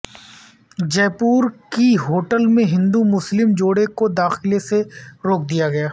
جئے پور کی ہوٹل میں ہندو مسلم جوڑے کو داخلے سے روک دیا گیا